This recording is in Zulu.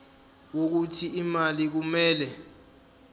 wokuthi imali kumele